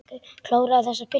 Kláraðu þessa pylsu.